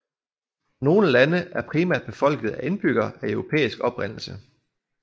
Nogle lande er primært befolket af indbyggere af europæisk oprindelse